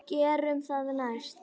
Gerum það næst.